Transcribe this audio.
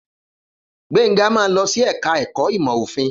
Gbénga máa lọ sí ẹ̀ka ẹ̀kọ́ ìmọ̀ òfin